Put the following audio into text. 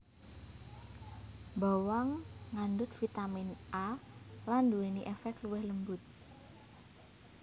Bawang ngandhut vitamin A lan nduwèni èfèk luwih lembut